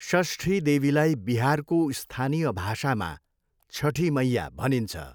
षष्ठी देवीलाई बिहारको स्थानीय भाषामा छठी मैया भनिन्छ।